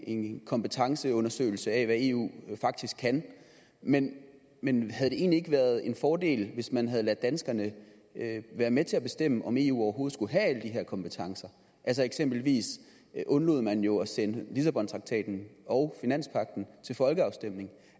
en kompetenceundersøgelse af hvad eu faktisk kan men men havde det egentlig ikke været en fordel hvis man havde ladet danskerne være med til at bestemme om eu overhovedet skulle have alle de her kompetencer eksempelvis undlod man jo at sende lissabontraktaten og finanspagten til folkeafstemning